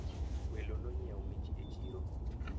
welo nonyiewo mich e chiro